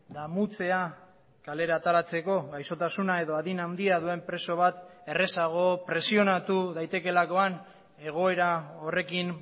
damutzea kalera ateratzeko gaixotasuna edo adin handia duen preso bat errazago presionatu daitekeelakoan egoera horrekin